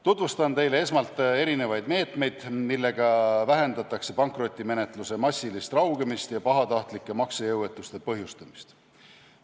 Tutvustan teile esmalt erinevaid meetmeid, millega vähendatakse pankrotimenetluse massilist raugemist ja pahatahtlike maksejõuetuste põhjustamist.